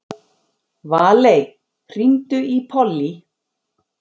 Valey, hringdu í Pollý.